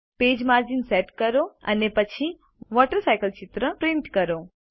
page margins set કરો અને પછી વોટરસાયકલ ચિત્ર પ્રિન્ટ કરો